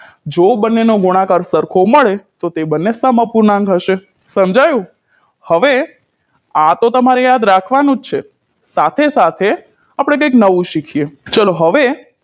ચલો હવે જો બંનેનો ગુણાકાર સરખો મળે તો તે બંને સમઅપૂર્ણાંક હશે સમજાયુ હવે આ તો તમારે યાદ રાખવાનું જ છે સાથે સાથે આપણે કઇંક નવું શીખીએ